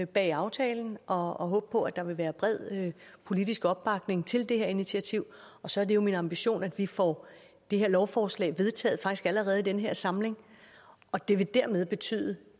bag aftalen og håbe på at der vil være bred politisk opbakning til det her initiativ og så er det jo min ambition at vi får det her lovforslag vedtaget allerede i den her samling det vil betyde